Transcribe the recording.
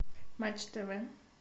матч тв